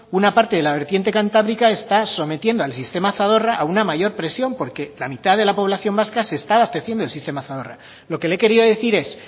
una parte de la vertiente cantábrica está sometiendo al sistema zadorra a una mayor presión porque la mitad de la población vasca se está abasteciendo del sistema zadorra lo que le he querido decir es